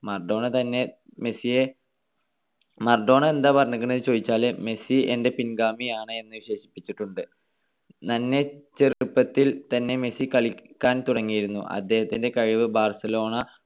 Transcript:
Maradona തന്നെ മെസ്സിയെ Maradona എന്താണ് പറഞ്ഞിരിക്കണത് എന്നുചോദിച്ചാല് മെസ്സി എൻ്റെ പിൻഗാമിയാണ് എന്ന് വിശേഷിപ്പിച്ചിട്ടുണ്ട്. നന്നേ ചെറുപ്പത്തിൽ തന്നെ മെസ്സി കളിക്കാൻ തുടങ്ങിയിരുന്നു. അദ്ദേഹത്തിന്റെ കഴിവ് ബാർസലോണ